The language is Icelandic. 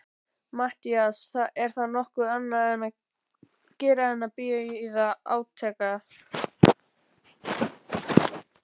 MATTHÍAS: Er þá nokkuð annað að gera en bíða átekta.